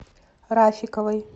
рафиковой